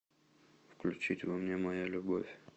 включить во мне моя любовь